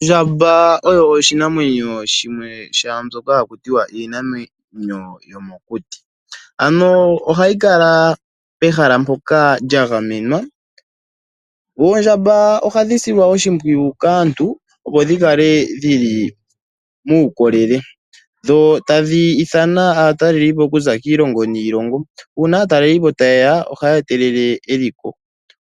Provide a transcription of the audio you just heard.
Ondjamba oyo oshinamwenyo shimwe shaambyoka haku tiwa iinamwenyo yomokuti, ano ohayi kala pehala mpoka lyagamenwa. Oondjamba ohadhi silwa oshipwiyu kaantu opo dhi kale dhili muukolele dho tadhi ithana aataleli okuza kiilongo niilongo. Uuna aatalelipo tayeya ohaya etelele eliko